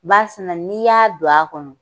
Barisina n'i y'a don a kɔnɔ.